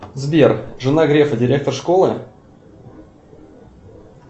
сбер жена грефа директор школы